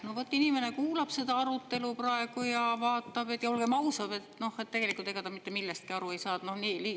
No vot, inimene kuulab seda arutelu praegu ja olgem ausad, tegelikult ega ta mitte millestki aru ei saa.